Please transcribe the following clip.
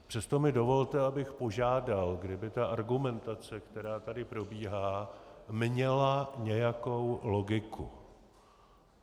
Přesto mi dovolte, abych požádal, kdyby ta argumentace, která tady probíhá, měla nějakou logiku.